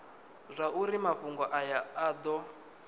zwauri mafhungo aya a do